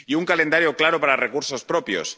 Y un calendario claro para los recursos propios.